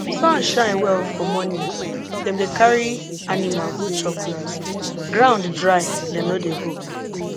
sun shine well for morning dem dey carry animal go chop grass ground dry dem no dey go